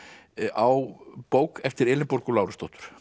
á bók eftir Elínborgu Lárusdóttur